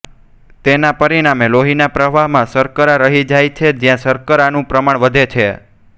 તેનાં પરિણામે લોહીના પ્રવાહમાં શર્કરા રહી જાય છે જ્યાં શર્કરાનું પ્રમાણ વધે છે